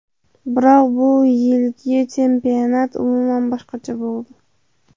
Biroq bu yilgi chempionat umuman boshqacha bo‘ldi.